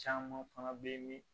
Caman fana bɛ yen